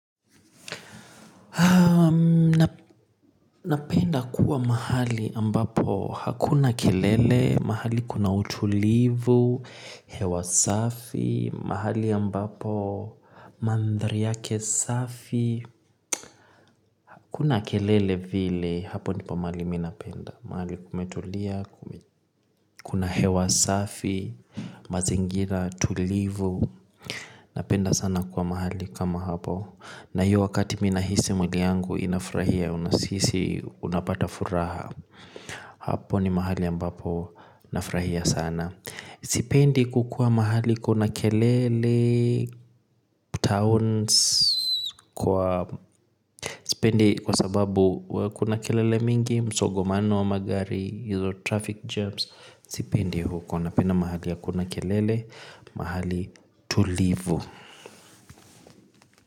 Napenda kuwa mahali ambapo hakuna kelele, mahali kuna utulivu, hewa safi, mahali ambapo mandhari yake safi. Hakuna kelele vile hapo ndipo mahali mi napenda. Mahali kumetulia, kuna hewa safi, mazingira, tulivu. Napenda sana kuwa mahali kama hapo. Na hiyo wakati mi nahisi mwili yangu inafurahia na sisi unapata furaha hapo ni mahali ambapo nafurahia sana sipendi kukuwa mahali kuna kelele, towns kwa sipendi kwa sababu kuna kelele mingi, msongomano wa magari, hizo traffic jams sipendi huko, napenda mahali hakuna kelele, mahali tulivu.